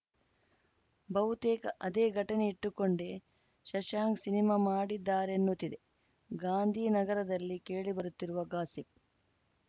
ಬಹುತೇಕ ಅದೇ ಘಟನೆ ಇಟ್ಟುಕೊಂಡೇ ಶಶಾಂಕ್‌ ಸಿನಿಮಾ ಮಾಡಿದ್ದಾರೆನ್ನುತ್ತಿದೆ ಗಾಂಧಿನಗರದಲ್ಲಿ ಕೇಳಿಬರುತ್ತಿರುವ ಗಾಸಿಪ್‌